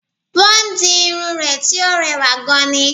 Wọ́n di irun rẹ̀ tí ó rewà gan ni